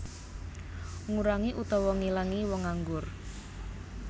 Ngurangi utawa ngilangi wong nganggur